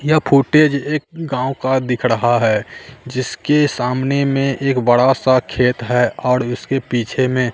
यह फुटेज एक गांव का दिख रहा है जिसके सामने में एक बड़ा सा खेत है और उसके पीछे में--